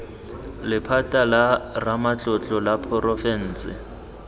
lephata la ramatlotlo la porofense